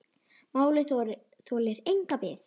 Málið þolir enga bið.